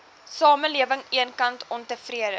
samelewing eenkant ontevrede